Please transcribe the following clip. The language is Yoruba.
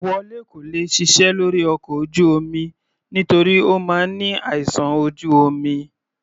Wole kò lè ṣiṣẹ́ lórí ọkọ̀ ojú omi nítorí Ó máa ní àìsàn ojú omi.